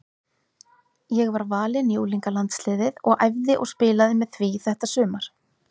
Ég var valinn í unglingalandsliðið og æfði og spilaði með því þetta sumar.